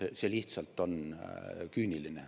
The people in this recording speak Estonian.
See on lihtsalt küüniline.